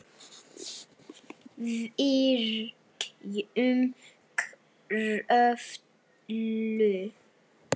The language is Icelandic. Virkjun Kröflu